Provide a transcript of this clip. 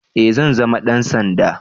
Eh zan zama dan sanda